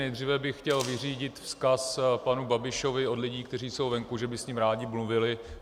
Nejdříve bych chtěl vyřídit vzkaz panu Babišovi od lidí, kteří jsou venku, že by s ním rádi mluvili.